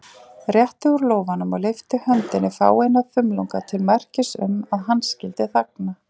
Rétti úr lófanum og lyfti höndinni fáeina þumlunga til merkis um, að hann skyldi þagna.